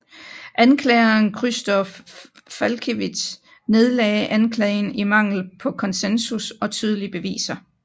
Anklageren Krzysztof Falkiewicz nedlagde anklagen i mangel på konsensus og tydelige beviser